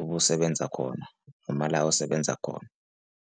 obusebenza khona noma la osebenza khona.